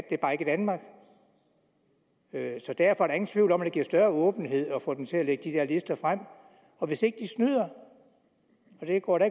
det er bare ikke i danmark så derfor er der ingen tvivl om at det giver større åbenhed at få dem til at lægge de der lister frem og hvis ikke de snyder og det går jeg